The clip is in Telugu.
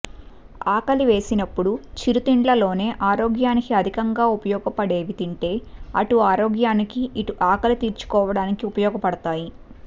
ఆకలి వేసినప్పుడు చిరుతిండ్లలోనే ఆరోగ్యానికి అధికంగా ఉపయోగపడేవి తింటే అటు ఆరోగ్యానికి ఇటు ఆకలి తీర్చుకోవడానికి ఉపయోగపడుతాయి